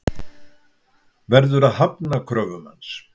Verður að hafna kröfum hans.